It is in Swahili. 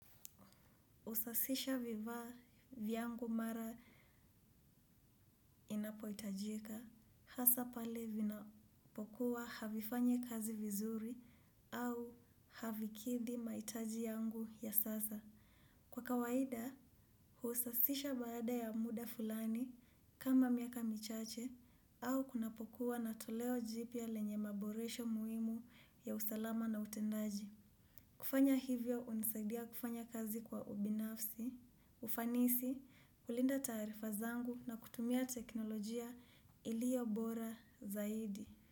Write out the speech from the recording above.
Husasisha viva vyangu mara inapohitajika, hasa pale vinapokuwa havifanyi kazi vizuri au havikidhi mahitaji yangu ya sasa. Kwa kawaida, husasisha baada ya muda fulani kama miaka michache au kunapokuwa na toleo jipya lenye maboresho muhimu ya usalama na utendaji. Kufanya hivyo hunisaidia kufanya kazi kwa ubinafsi, ufanisi, kulinda taarifa zangu na kutumia teknolojia ilio bora zaidi.